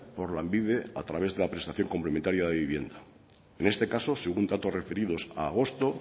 por lanbide a través de la prestación complementaria de vivienda en este caso según datos referidos a agosto